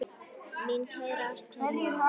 Mín kæra ástkæra móðir.